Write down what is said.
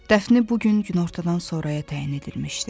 Dəfni bu gün günortadan sonraya təyin edilmişdi.